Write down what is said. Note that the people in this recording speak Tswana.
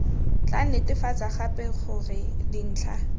tla netefatsa gape gore dintlha